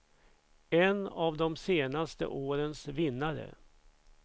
En av de senaste årens vinnare.